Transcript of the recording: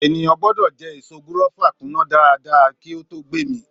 Ènìyàn gbọdọ jẹ èso gúrọ́fà kúná dáadáa kí á tó gbé mì.